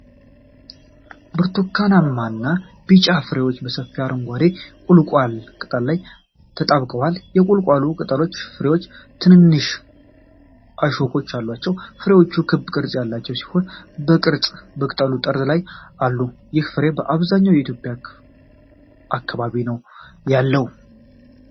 ብርቱካንማ እና ቢጫ ፍሬዎች በሰፊ አረንጓዴ የቊልቋል ቅጠል ላይ ተጣብቀዋል። የቊልቋሉ ቅጠሎችና ፍሬዎች ትንንሽ እሾኮች አሏቸው። ፍሬዎቹ ክብ ቅርጽ ያላቸው ሲሆን፣ በግልጽ በቅጠሉ ጠርዝ ላይ አሉ። ይህ ፍሬ በአብዛኛው በየትኛው የኢትዮጵያ አካባቢ ነው ያለው?